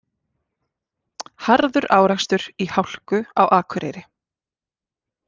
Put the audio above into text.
Harður árekstur í hálku á Akureyri